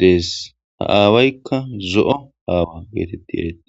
dees ha aawaykka zo7o aawa geetetti ereete